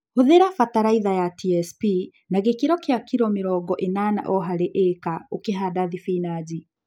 Hũthĩra batalaitha ya TSP na gĩkĩro kia kilo mĩrongo ĩnana o harĩ ĩka ũkĩhanda thibinachi